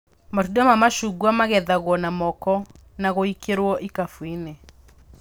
Matunda ma macungwa magethagwo na moko na gũikĩrwo ikabũ-inĩ